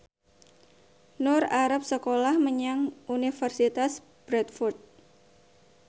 Nur arep sekolah menyang Universitas Bradford